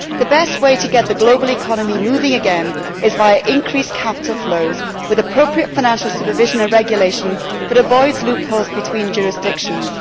The best way to get the global economy moving again is via increased capital flows with appropriate financial supervision and regulation that avoids loopholes between jurisdictions.